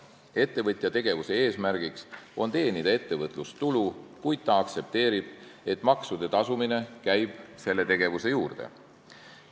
Ettevõtja tegevuse eesmärk on teenida ettevõtlustulu, kuid ta aktsepteerib, et maksude tasumine käib selle tegevuse juurde.